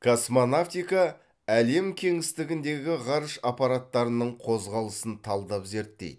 космонавтика әлем кеңістігіндегі ғарыш аппараттарының қозғалысын талдап зерттейді